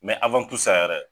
yɛrɛ